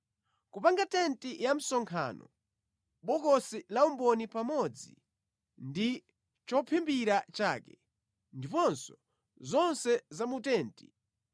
Kupanga tenti ya msonkhano, bokosi laumboni pamodzi ndi chophimbira chake, ndiponso zonse za mu tenti,